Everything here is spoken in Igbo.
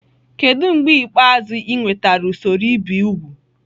Kedu mgbe ikpeazụ ị nwetara usoro ibi úgwù?